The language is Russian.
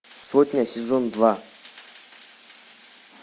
сотня сезон два